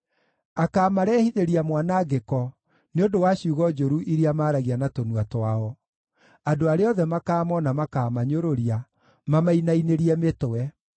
Akaamarehithĩria mwanangĩko nĩ ũndũ wa ciugo njũru iria maaragia na tũnua twao; andũ arĩa othe makamoona makaamanyũrũria, mamainainĩrie mĩtwe.